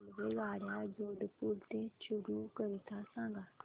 रेल्वेगाड्या जोधपुर ते चूरू करीता सांगा